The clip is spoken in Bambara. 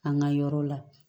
An ka yɔrɔ la